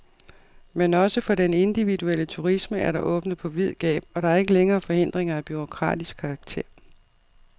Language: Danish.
Men også for den individuelle turisme er der åbnet på vid gab, og der er ikke længere forhindringer af bureaukratisk karakter.